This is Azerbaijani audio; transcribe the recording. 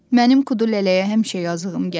Mənim Kudu lələyə həmişə yazığım gəlib.